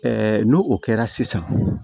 n'o o kɛra sisan